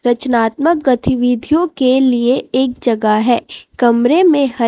रचनात्मक गतिविधियों के लिए एक जगह है कमरे में ह--